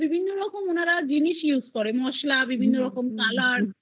বিভিন্ন রকম জিনিস use করে মসলা বিভিন্ন রকম color